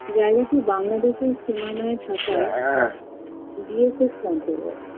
জায়গাটি বাংলাদেশের সীমানায়ে থাকায় bsf camp পরে